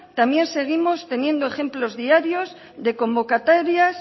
también seguimos teniendo ejemplos diarios de convocatorias